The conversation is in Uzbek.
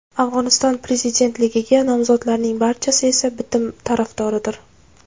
Afg‘oniston prezidentligiga nomzodlarning barchasi esa bitim tarafdoridir.